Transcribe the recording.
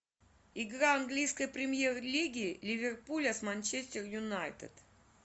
игра английской премьер лиги ливерпуля с манчестер юнайтед